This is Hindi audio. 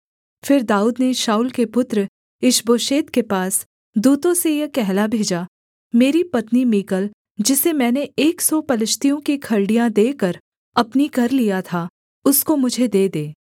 फिर दाऊद ने शाऊल के पुत्र ईशबोशेत के पास दूतों से यह कहला भेजा मेरी पत्नी मीकल जिसे मैंने एक सौ पलिश्तियों की खलड़ियाँ देकर अपनी कर लिया था उसको मुझे दे दे